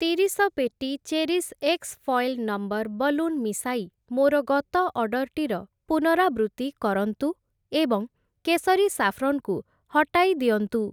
ତିରିଶ ପେଟି ଚେରିଶ୍‌ ଏକ୍ସ୍‌ ଫଏଲ୍‌ ନମ୍ବର୍‌ ବଲୁନ୍‌ ମିଶାଇ ମୋର ଗତ ଅର୍ଡ଼ର୍‌ଟିର ପୁନରାବୃତ୍ତି କରନ୍ତୁ ଏବଂ କେସରୀ ସାଫ୍ରନ୍‌ କୁ ହଟାଇ ଦିଅନ୍ତୁ ।